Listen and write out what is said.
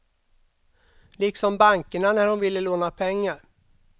Liksom bankerna när hon ville låna pengar.